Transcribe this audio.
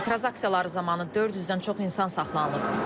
Etiraz aksiyaları zamanı 400-dən çox insan saxlanılıb.